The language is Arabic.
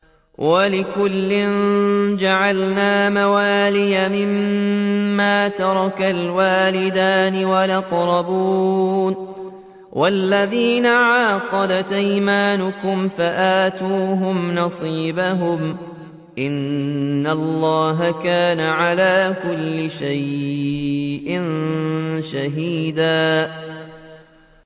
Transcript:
وَلِكُلٍّ جَعَلْنَا مَوَالِيَ مِمَّا تَرَكَ الْوَالِدَانِ وَالْأَقْرَبُونَ ۚ وَالَّذِينَ عَقَدَتْ أَيْمَانُكُمْ فَآتُوهُمْ نَصِيبَهُمْ ۚ إِنَّ اللَّهَ كَانَ عَلَىٰ كُلِّ شَيْءٍ شَهِيدًا